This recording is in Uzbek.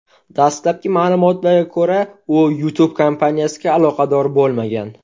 Dastlabki ma’lumotlarga ko‘ra, u YouTube kompaniyasiga aloqador bo‘lmagan.